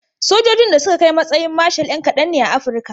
Sojojin da suka kai matsayin marshal 'yna kadan ne a Afirka.